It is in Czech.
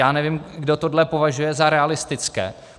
Já nevím, kdo tohle považuje za realistické.